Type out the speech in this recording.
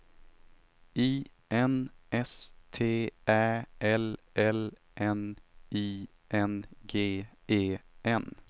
I N S T Ä L L N I N G E N